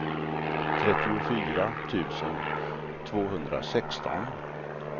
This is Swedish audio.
trettiofyra tusen tvåhundrasexton